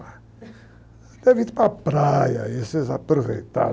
Deve ter ido para a praia, e vocês aproveitaram.